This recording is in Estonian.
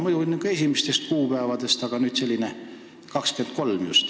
Muidu jõustuvad seadused ikka kuu esimesel päeval, aga nüüd 23. mail.